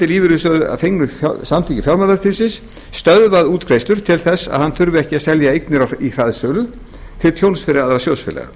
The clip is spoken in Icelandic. lífeyrissjóður að fengnu samþykki fjármálaeftirlitsins stöðvað útgreiðslur til þess að hann þurfi ekki að selja eignir í hraðsölu til tjóns fyrir aðra sjóðfélaga